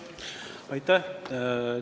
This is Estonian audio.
Aitäh!